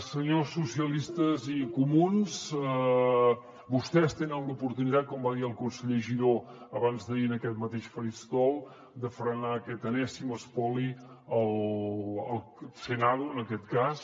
senyors socialistes i comuns vostès tenen l’oportunitat com va dir el conseller giró abans d’ahir en aquest mateix faristol de frenar aquest enèsim espoli al senado en aquest cas